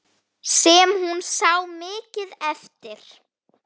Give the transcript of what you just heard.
Sem hún sá mikið eftir.